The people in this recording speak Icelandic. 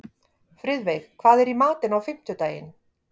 Friðveig, hvað er í matinn á fimmtudaginn?